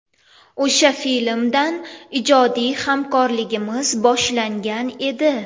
O‘sha filmdan ijodiy hamkorligimiz boshlangan edi.